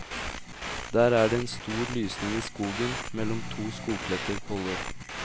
Der er det en stor lysning i skogen mellom to skogkledte koller.